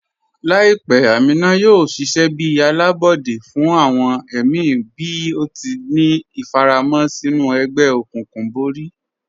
Laipẹ́ Ámínà yóò ṣiṣẹ̀ bí alábọdẹ̀ fún awọn ẹ̀mí bí ó tì ní ifàràmọ̀ sinú ègbè-òkùnkùn bọ̀rí.